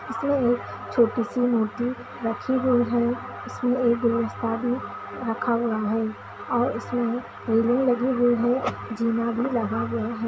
इसमें एक छोटी सी मूर्ति रखी हुई है उसमे एक गुलस्ता भी रखा हुआ है और उसमें रेलिंग लगी हुई है जीना भी लगा हुआ है।